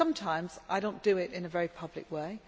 Sometimes I do not do it in a very public way.